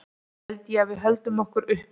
Held ég að við höldum okkur uppi?